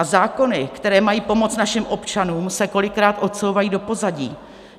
A zákony, které mají pomoct našim občanům, se kolikrát odsouvají do pozadí.